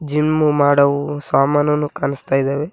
Gym ಮಾಡೋ ಸಾಮಾನನ್ನು ಕಾಣಿಸ್ತಾ ಇದಾವೆ.